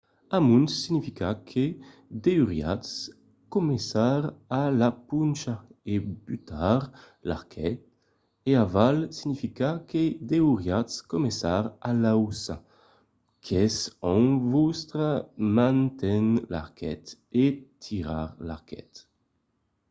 amont significa que deuriatz començar a la poncha e butar l'arquet e aval significa que deuriatz començar a l'auça qu'es ont vòstra man ten l'arquet e tirar l'arquet